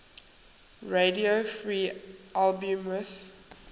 radio free albemuth